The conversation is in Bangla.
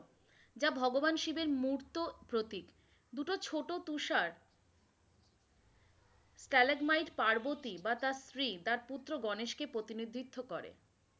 যা ভগবান শিবের মুর্ত প্রতিক, দুটো ছোট তুষার ক্যালেকমোয়ী পার্বতি বা তার স্ত্রী পুত্র গনেশ কে প্রতিনিধিত্ব করে।